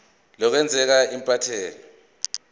lokwengeza sal iphepha